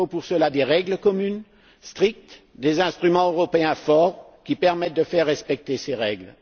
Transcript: Il faut pour cela mettre en place des règles communes strictes et des instruments européens forts qui permettent de faire respecter ces règles.